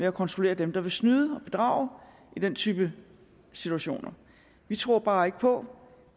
at kontrollere dem der vil snyde og bedrage i den type situationer vi tror bare ikke på